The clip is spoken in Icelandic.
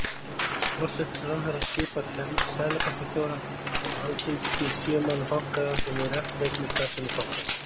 Forsætisráðherra skipar seðlabankastjóra og Alþingi kýs sjö manna bankaráð sem hefur eftirlit með starfsemi bankans.